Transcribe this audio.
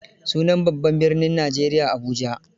Sunan babban birnin Nigeria Abuja.